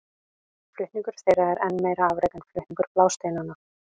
Flutningur þeirra er enn meira afrek en flutningur blásteinanna.